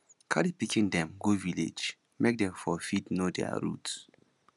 carry pikin dem go village make dem for fit know their root